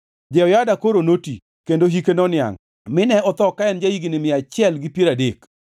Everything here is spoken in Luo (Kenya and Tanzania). Jehoyada koro noti kendo hike noniangʼ mine otho ka en ja-higni mia achiel gi piero adek.